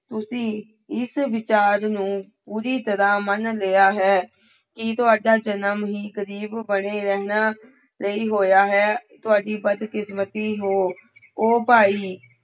ਤੁਸੀਂ ਇਸ ਵਿਚਾਰ ਨੂੰ ਪੂਰੀ ਤਰ੍ਹਾਂ ਮਨ ਲਿਆ ਹੈ ਕਿ ਤੁਹਾਡਾ ਜਨਮ ਹੀ ਗ਼ਰੀਬ ਬਣੇ ਰਹਿਣ ਲਈ ਹੋਇਆ ਹੈ, ਤੁਹਾਡੀ ਬਦਕਿਸਮਤੀ ਹੋ, ਉਹ ਭਾਈ